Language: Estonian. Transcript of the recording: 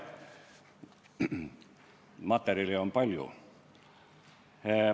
Materjali on palju.